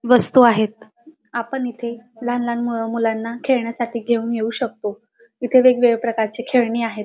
वस्तु आहेत आपण इथे लहान लहान मुलांना खेळण्यासाठी घेऊन येऊ शकतो इथे वेगवेगळ्या प्रकारची खेळणी आहेत.